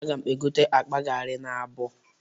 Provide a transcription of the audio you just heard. A ga m egote akpa gari n'abọọ